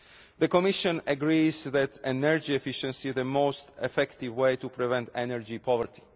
The Commission agrees that energy efficiency is the most effective way to prevent energy poverty.